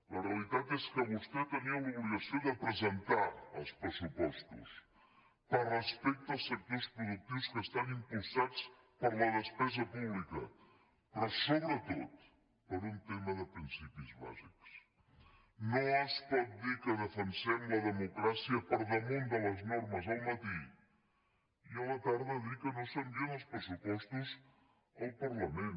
la realitat és que vostè tenia l’obligació de presentar els pressupostos per respecte als sector productius que estan impulsats per la despesa pública però sobretot per un tema de principis bàsics no es pot dir que defensem la democràcia per damunt de les normes al matí i a la tarda dir que no s’envien els pressupostos al parlament